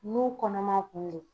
N'u kɔnɔman kun do